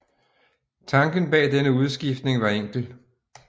Tanken bag denne udskiftning var enkel